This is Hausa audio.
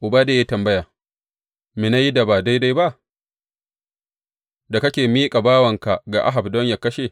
Obadiya ya yi tambaya, Me na yi da ba daidai ba, da kake miƙa bawanka ga Ahab don yă kashe?